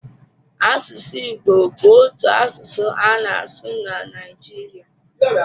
Asụsụ Igbo bụ otu asụsụ a na-asụ na Naịjiria.